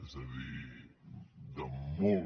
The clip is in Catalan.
és a dir de molt